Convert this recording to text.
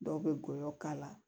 Dɔw bɛ goyɔ k'a la